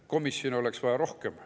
Komisjone oleks vaja rohkem.